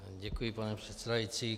Děkuji, pane předsedající.